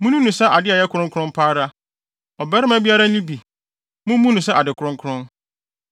Munni no sɛ ade a ɛyɛ kronkron pa ara; ɔbarima biara nni bi. Mummu no sɛ ade kronkron.